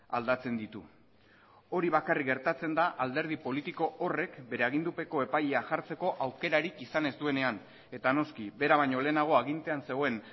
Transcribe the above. aldatzen ditu hori bakarrik gertatzen da alderdi politiko horrek bere agindupeko epailea jartzeko aukerarik izan ez duenean eta noski bera baino lehenago agintean zegoen